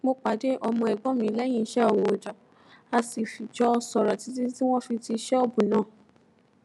mo pàdé ọmọ ègbón mi léyìn iṣé oojo a sì jọ sòrò títí tí wón fi ti ṣóòbù náà